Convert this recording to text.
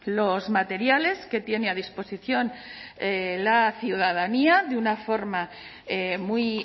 los materiales que tiene a disposición la ciudadanía de una forma muy